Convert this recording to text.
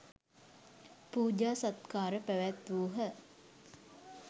පූජා සත්කාර පැවැත්වූහ.